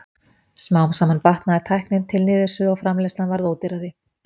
Smám saman batnaði tæknin til niðursuðu og framleiðslan varð ódýrari.